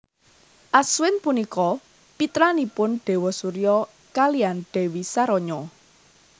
Aswin punika pitranipun Déwa Surya kaliyan Dèwi Saranya